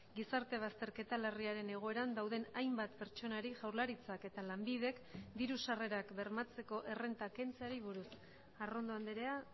gizarte bazterketa larriaren egoeran dauden hainbat pertsonari jaurlaritzak eta lanbidek diru sarrerak bermatzeko errenta kentzeari buruz arrondo andrea